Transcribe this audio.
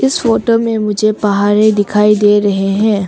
इस फोटो में मुझे पहाड़े दिखाई दे रहें है।